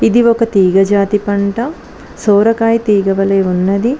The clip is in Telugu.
ఇది ఒక తీగ జాతి పంట సోరకాయ తీగవలే ఉన్నది.